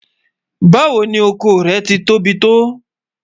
Báwo ni ọkọ rẹ́ ti tóbi tó?